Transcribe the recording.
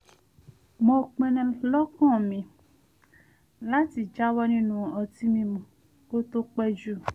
mo pinnu lọ́kàn mi láti jáwọ́ nínú ọtí mímu kó tó pẹ́ jù